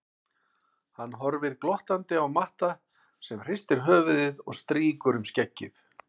Hann horfir glottandi á Matta sem hristir höfuðið og strýkur um skeggið.